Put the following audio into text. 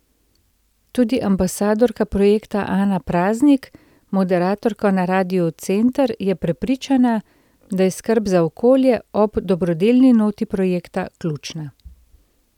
Tudi ambasadorka projekta Ana Praznik, moderatorka na Radiu Center, je prepričana, da je skrb za okolje, ob dobrodelni noti projekta, ključna.